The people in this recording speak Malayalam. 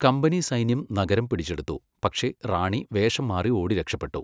കമ്പനി സൈന്യം നഗരം പിടിച്ചെടുത്തു, പക്ഷേ റാണി വേഷം മാറി ഓടിരക്ഷപെട്ടു.